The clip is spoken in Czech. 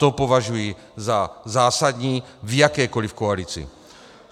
To považuji za zásadní v jakékoliv koalici.